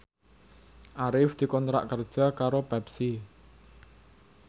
Arif dikontrak kerja karo Pepsi